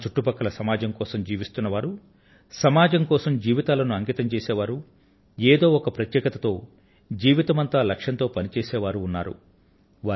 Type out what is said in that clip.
మన చుట్టుపక్కల సమాజం కోసం జీవిస్తున్న వారు సమాజం కోసం జీవితాలను అంకితం చేసే వారు ఏదో ఒక ప్రత్యేకతతో జీవితమంతా లక్ష్యంతో పని చేసే వారు ఉన్నారు